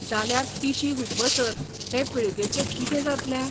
जाल्यार तिशी हुपसर हे पिळगेचें कितें जातलें?